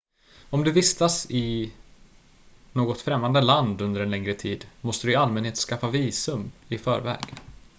om du vistas i något främmande land under en längre tid måste du i allmänhet skaffa visum i förväg